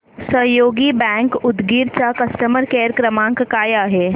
सहयोग बँक उदगीर चा customer care क्रमांक काय आहे